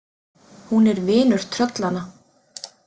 Hún er vinur tröllanna.